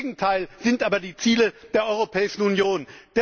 Das Gegenteil sind aber die Ziele der Europäischen Union!